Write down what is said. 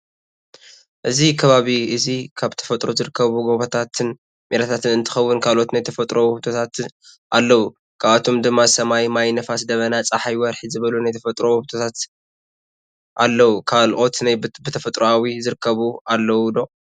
እዚ ከባቢ እዚ ካብ ብተፈጥሮ ዝርከቡ ጎቦታትን ሜዳታትን እትከወን ካሎት ናይ ተፈጥሎ ውህብቶታት ኣለው። ካብኣቶም ድማ ሰማይ፣ ማይ፣ ንፋስ፣ ደበና፣ ፀሓይ፣ ወርሒ ዝበሉ ናይ ተፈጥሮ ውህብቶታት ኣለውን። ካሎኦት ናይ ብተፈጥራዊ ዝርከቡ ኣለው ዶ?